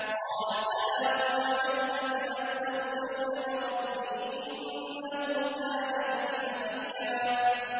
قَالَ سَلَامٌ عَلَيْكَ ۖ سَأَسْتَغْفِرُ لَكَ رَبِّي ۖ إِنَّهُ كَانَ بِي حَفِيًّا